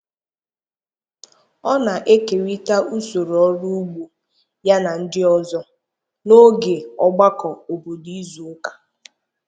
Ọ na-ekerịta usoro ọrụ ugbo ya na ndị ọzọ n'oge ogbakọ obodo izu ụka